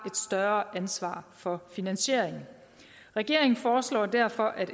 større ansvar for finansieringen regeringen foreslår derfor at